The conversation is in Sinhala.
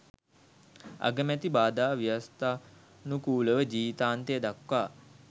අගමැති බාධා ව්‍යවස්ථානුකූලව ජීවිතාන්තය දක්වා